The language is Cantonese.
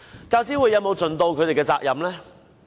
教資會有否盡其責任呢？